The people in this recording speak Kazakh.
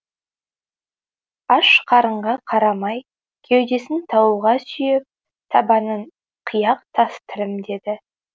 аш қарынға қарамай кеудесін тауға сүйеп табанын қияқ тас тілімдеді